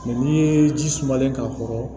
n'i ye ji sumalen k'a kɔrɔ